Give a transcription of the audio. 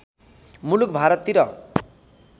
मुलुक भारततिर